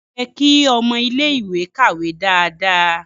O yẹ ki ọmọ ilẹ ìwé kàwé dáadáa.